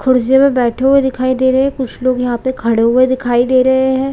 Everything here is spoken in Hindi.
खुर्सियों पे बैठे हुए दिखाई दे रहे हैं कुछ लोग यहाँ पे खड़े हुए दिखाई दे रहे हैं ।